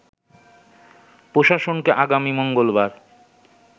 প্রশাসনকে আগামী মঙ্গলবার